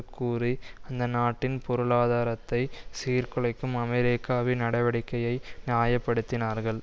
கூறி அந்த நாட்டின் பொருளாதாரத்தை சீர்குலைக்கும் அமெரிக்காவின் நடவடிக்கையை நியாயப்படுத்தினார்கள்